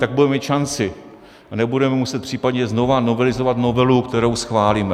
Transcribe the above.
Tak budeme mít šanci a nebudeme muset případně znovu novelizovat novelu, kterou schválíme.